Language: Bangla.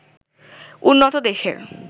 উন্নত দেশের